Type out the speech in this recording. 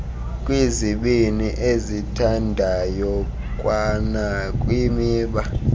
kwizibini ezithandayo kwanakwimiba